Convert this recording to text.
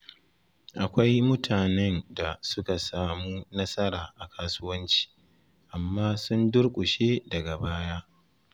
Akwai mutanen da suka samu nasara a kasuwanci, amma sun durƙushe daga baya.